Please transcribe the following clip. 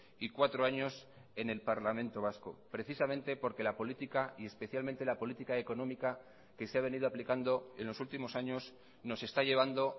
y cuatro años en el parlamento vasco precisamente porque la política y especialmente la política económica que se ha venido aplicando en los últimos años nos está llevando